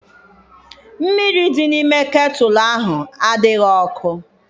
Mmiri dị n'ime ketulu ahụ adịghị ọkụ.